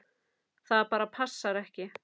Það bara passar ekki.